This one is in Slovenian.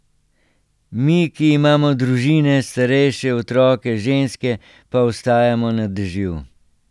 Mi, ki imamo družine, starejše, otroke, ženske, pa ostajamo na dežju.